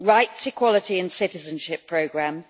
the rights, equality and citizenship programme